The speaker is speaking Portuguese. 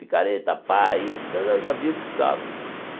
Picareta, pá, isso, já via o que precisava.